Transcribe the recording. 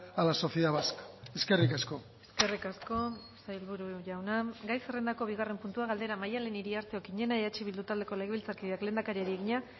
a la sociedad vasca eskerrik asko eskerrik asko sailburu jauna gai zerrendako bigarren puntua galdera maddalen iriarte okiñena eh bildu taldeko legebiltzarkideak lehendakariari egina